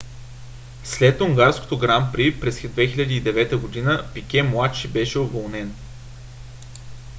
след унгарското гран при през 2009 г. пике младши беше уволнен